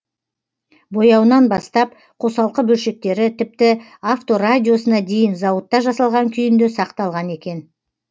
бояуынан бастап қосалқы бөлшектері тіпті авторадиосына дейін зауытта жасалған күйінде сақталған екен